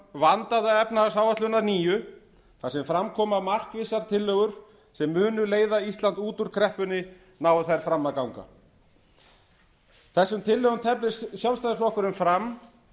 vandaða efnahagsáætlun að nýju þar sem fram koma markvissar tillögur sem munu leiða ísland út úr kreppunni nái þær fram að ganga þessum tillögum teflir sjálfstæðisflokkurinn fram